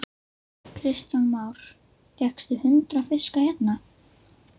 Kristján Már: Fékkstu hundrað fiska hérna?